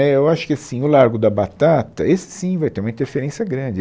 Né, eu acho que assim, o Largo da Batata, esse sim vai ter uma interferência grande.